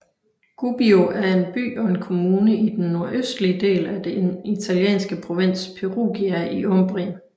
Gubbio er en by og en kommune i den nordøstlige del af den italienske provins Perugia i Umbrien